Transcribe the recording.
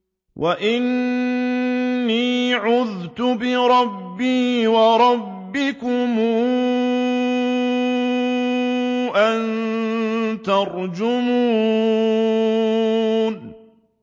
وَإِنِّي عُذْتُ بِرَبِّي وَرَبِّكُمْ أَن تَرْجُمُونِ